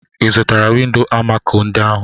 Ị zụtara windo amako ndị ahụ?